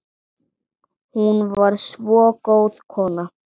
Hún var svo góð kona